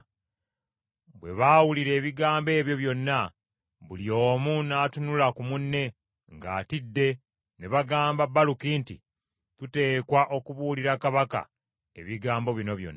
Bwe baawulira ebigambo ebyo byonna, buli omu n’atunula ku munne ng’atidde ne bagamba Baluki nti, “Tuteekwa okubuulira kabaka ebigambo bino byonna.”